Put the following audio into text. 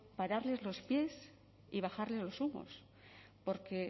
pararles los pies y bajarles los humos porque